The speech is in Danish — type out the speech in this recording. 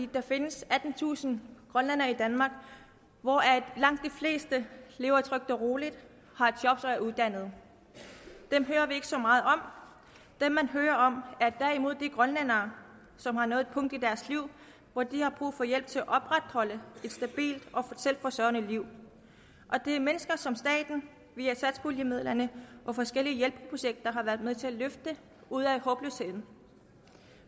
der findes attentusind grønlændere i danmark hvoraf langt de fleste lever trygt og roligt har job og er uddannede og dem hører vi ikke så meget om dem man hører om er derimod de grønlændere som har nået et punkt i deres liv hvor de har brug for hjælp til at opretholde et stabilt og selvforsørgende liv det er mennesker som staten via satspuljemidlerne og forskellige hjælpeprojekter har været med til at løfte ud af håbløsheden